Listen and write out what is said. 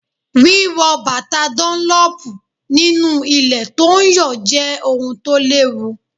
Wíwo bàtà dúnlọ́pù nínú ilẹ̀ tó ń yọ̀ jẹ́ ohun tó léwu.